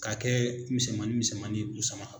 K'a kɛ misɛmannin misɛmannin busama